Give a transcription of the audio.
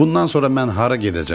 Bundan sonra mən hara gedəcəm?